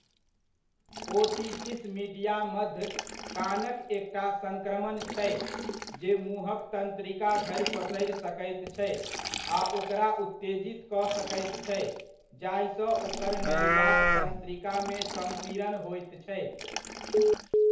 Otitis media मध्य कानक एकटा सङ्क्रमण छै, जे मुँहक तन्त्रिका धरि पसरि सकैत छै आ ओकरा उत्तेजित कऽ सकैत छै जाहिसँ ओकर नलिकाक तन्त्रिकामे सम्पीड़न होइत छै।